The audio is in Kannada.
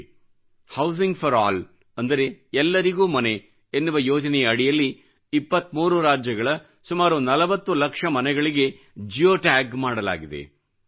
housing for all housing for allಅಂದರೆ ಎಲ್ಲರಿಗೂ ಮನೆ ಎನ್ನುವ ಯೋಜನೆಯ ಅಡಿಯಲ್ಲಿ 23ರಾಜ್ಯಗಳ ಸುಮಾರು 40 ಲಕ್ಷ ಮನೆಗಳಿಗೆ ಜಿಯೋ ಟ್ಯಾಗ್ ಮಾಡಲಾಗಿದೆ